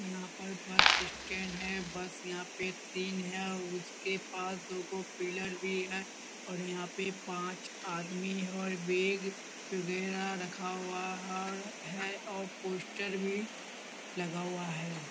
यहाँ पर bus stand है बस यहाँ पे तीन है उसके पास दोगो पिलर भी है और यहाँ पे पांच आदमी और बैग वगैरा रखा हुआ और है और पोस्टर भी लगा हुआ है ।